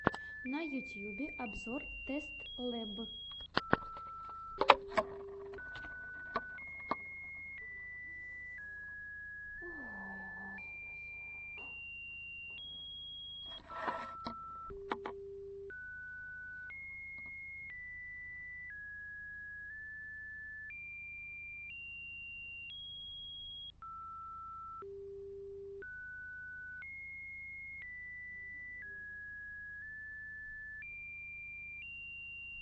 на ютьюбе обзор тэст лэб